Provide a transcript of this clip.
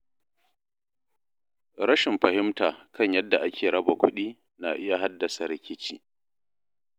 Rashin fahimta kan yadda ake raba kuɗi na iya haddasa rikici.